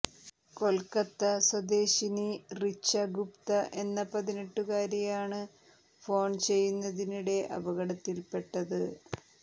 കൊൽക്കത്ത സ്വദേശിനി റിച്ച ഗുപ്ത എന്ന പതിനെട്ടുകാരിയാണ് ഫോൺ ചെയ്യുന്നതിനിടെ അപകടത്തിൽപ്പെട്ടത്